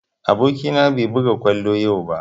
Aboki na bai buga kwallo yau ba